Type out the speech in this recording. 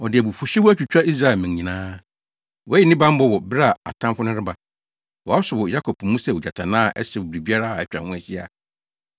Ɔde abufuwhyew atwitwa Israel mmɛn nyinaa. Wayi ne bammɔ wɔ bere a atamfo no reba. Wasɔ wɔ Yakob mu sɛ ogyatannaa a ɛhyew biribiara a atwa ho ahyia.